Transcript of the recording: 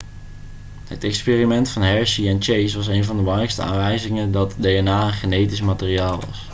het experiment van hershey en chase was een van de belangrijkste aanwijzingen dat dna een genetisch materiaal was